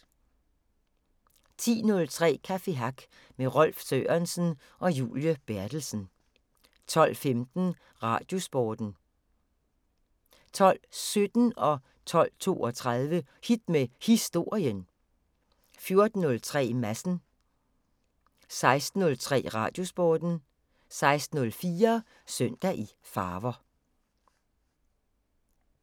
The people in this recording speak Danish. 10:03: Café Hack med Rolf Sørensen og Julie Berthelsen 12:15: Radiosporten 12:17: Hit med Historien 12:32: Hit med Historien 14:03: Madsen 16:03: Radiosporten 16:04: Søndag i farver